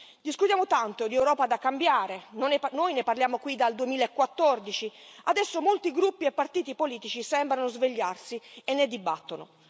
Discutiamo tanto di Europa da cambiare, noi ne parliamo qui dal 2014, e adesso molti gruppi e partiti politici sembrano svegliarsi e ne dibattono.